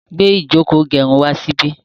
gbé Ijoko igerun wá sí bí